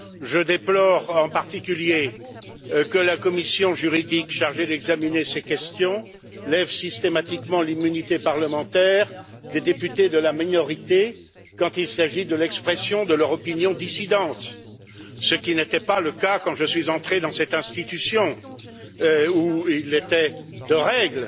Je déplore, en particulier, que la commission juridique chargée d'examiner ces questions lève systématiquement l'immunité parlementaire des députés de la minorité quand il s'agit de l'expression de leur opinion dissidente, ce qui n'était pas le cas quand je suis entré dans cette institution où il était de règle